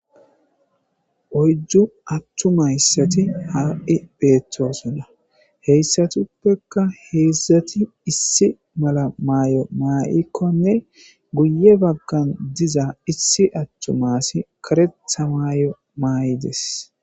Oyddu attumayssati haa7i beettoosona heyssatuppekka heedzdzati issi mala maay7o maa7ikkonne guye baggan diza issi attumasi karetha maay7o maa7i des.